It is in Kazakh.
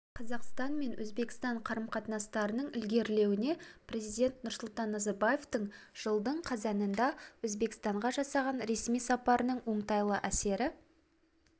қазақстан мен өзбекстан қарым-қатынастарының ілгерілеуіне президент нұрсұлтан назарбаевтың жылдың қазанында өзбекстанға жасаған ресми сапарының оңтайлы әсері